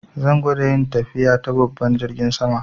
Zan gwada yin tafiya ta babban jirgin ruwa.